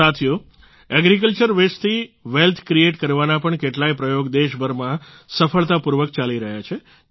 સાથીઓ એગ્રીકલ્ચર વસ્તે થી વેલ્થ ક્રિએટ કરવાના પણ કેટલાય પ્રયોગ દેશભરમાં સફળતાપૂર્વક ચાલી રહ્યા છે